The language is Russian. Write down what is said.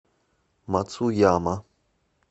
мацуяма